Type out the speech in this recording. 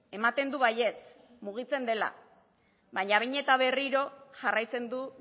ematen du baietz mugitzen dela baina behin eta berriro jarraitzen du